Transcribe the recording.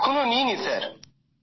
এখনো নিই নি স্যার